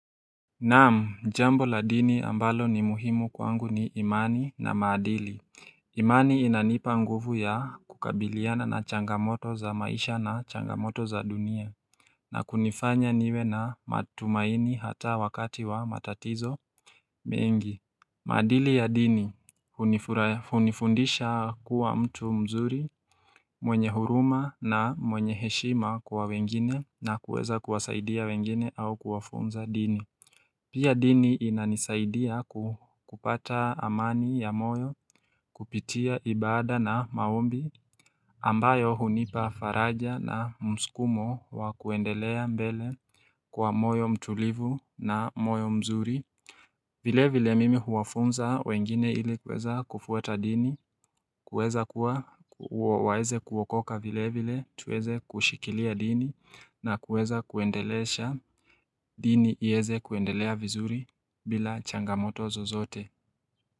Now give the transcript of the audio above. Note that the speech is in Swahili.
Naam, jambo la dini ambalo ni muhimu kwangu ni imani na maadili. Imani inanipa nguvu ya kukabiliana na changamoto za maisha na changamoto za dunia. Na kunifanya niwe na matumaini hata wakati wa matatizo mengi. Maadili ya dini, hunifundisha kuwa mtu mzuri, mwenye huruma na mwenye heshima kwa wengine na kuweza kuwasaidia wengine au kuwafunza dini. Pia dini inanisaidia kupata amani ya moyo kupitia ibada na maombi ambayo hunipa faraja na msukumo wa kuendelea mbele kwa moyo mtulivu na moyo mzuri vile vile mimi huwafunza wengine ili kuweza kufuata dini, kuweza kuwa waeze kuokoka vile vile, tuweze kushikilia dini na kuweza kuendelesha dini ieze kuendelea vizuri bila changamoto zozote.